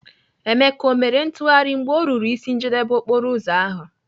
Emeka, o mere ntụgharị mgbe ọ ruru ịsị njedebe okporoụzọ ahụ?